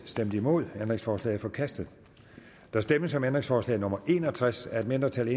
stemte nul ændringsforslaget er forkastet der stemmes om ændringsforslag nummer en og tres af et mindretal